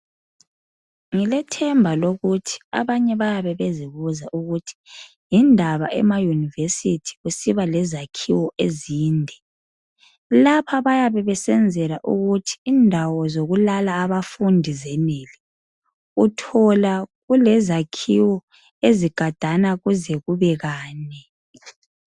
Ngilethemba lokuthi abanye bayabe bezibuza ukuthi yindaba emayunivesithi kusiba lezakhiwo ezinde, lapha bayabe besenzela ukuthi indawo zokulala abafundi zenele uthola ku lezakhiwo ezigadana kuze kube kane.